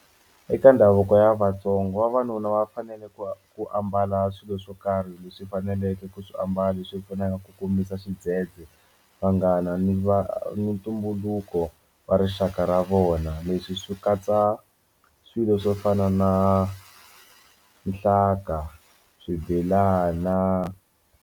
Eka ndhavuko ya Vatsonga vavanuna va fanele ku ku ambala swilo swo karhi leswi faneleke ku swiambalo leswi pfunaka ku komisa xidzedze vanghana ni va ni ntumbuluko wa rixaka ra vona leswi swi katsa swilo swo fana na nhlanga swibelana.